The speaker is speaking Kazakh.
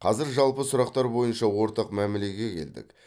қазір жалпы сұрақтар бойынша ортақ мәмілеге келдік